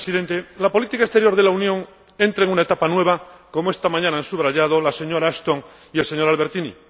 Señor Presidente, la política exterior de la Unión entra en una etapa nueva, como esta mañana han subrayado la señora Ashton y el señor Albertini.